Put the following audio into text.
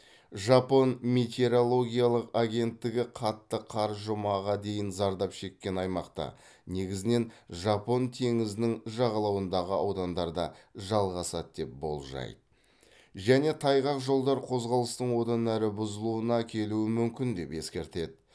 жапон метеорологиялық агенттігі қатты қар жұмаға дейін зардап шеккен аймақта негізінен жапон теңізінің жағалауындағы аудандарда жалғасады деп болжайды және тайғақ жолдар қозғалыстың одан әрі бұзылуына әкелуі мүмкін деп ескертеді